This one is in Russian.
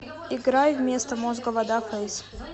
играй вместо мозга вода фэйс